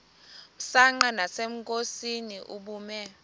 msanqa nasenkosini ubume